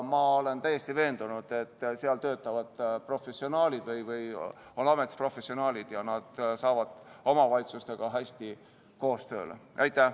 Ma olen täiesti veendunud, et seal töötavad või on ametis professionaalid ja nad saavad omavalitsustega hästi koos töötatud.